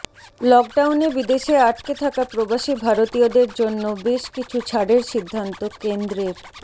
লকডাউনে বিদেশে আটকে থাকা প্রবাসী ভারতীয়দের জন্য বেশ কিছু ছাড়ের সিদ্ধান্ত কেন্দ্রের